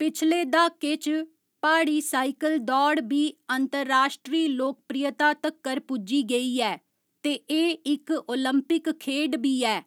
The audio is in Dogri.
पिछले दहाके च, प्हाड़ी साइकल दौड़ बी अंतर्राश्ट्री लोकप्रियता तक्कर पुज्जी गेई ऐ ते एह् इक ओलंपिक खेड्ड बी ऐ।